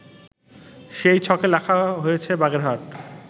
সেই ছকে লেখা হয়েছে বাগেরহাট